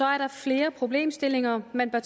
er der flere problemstillinger man bør